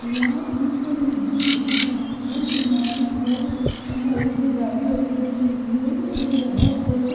यहां एक नदी है जहां पर किनारे पर लोहे की जारी लगी हुई है और यहां पर--